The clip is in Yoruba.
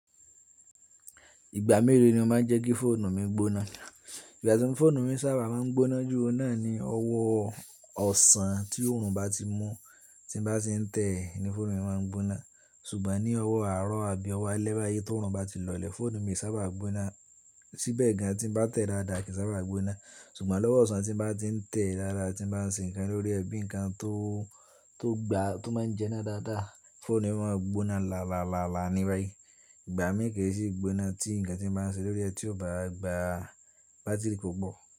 Ìgbà mélòó ni mó máa ń jẹ́ kí fóònù mi gbóná? Ìgbà tí fóònù mi sábà máa ń gbóná jù, o náà ni ọwọ́ ọ̀sán tí órùn bá ti mú tí n bá si ń tẹ́ẹ̀ ni fóònù mi máa ń gbóná. Ṣùgbọ́n ní ọwọ́ àárọ̀ àbí ọwọ́ alẹ́ báyìí tí òórùn bá ti lọlẹ̀, fóònù mi ò n sábà gbóná. Síbẹ̀ gan tí bá tẹ̀ dáadáa kì í sábà gbóná. Ṣùgbọ́n lọ́wọ́ ọ̀sán tí bá ti ń tẹ́ẹ̀ dáadáa tí bá ń ṣe nǹkan lórí ẹ bíi nǹkan tó, tó gba, tó máa ń jẹná dáadáa, fóònù mi máa ń gbóná lálálálá ní báyìí. Ìgbà mí kò ì ṣe gbóná tí ǹkan tí mo bá ń ṣe lórí ẹ tí ó bá gba bátírì kò pọ̀